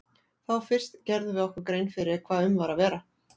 Þá fyrst gerðum við okkur grein fyrir hvað um var að vera.